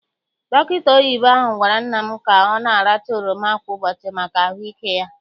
Dọkịta oyibo ahụ gwara nna m ka ọ na- aracha oroma kwa ụbọchị maka ahụike ya.